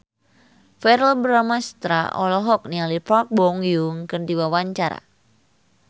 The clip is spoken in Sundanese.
Verrell Bramastra olohok ningali Park Bo Yung keur diwawancara